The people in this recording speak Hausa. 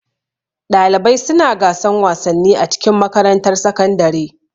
Ɗalibai suna gasan wasanni a cikin makarantar sakandare.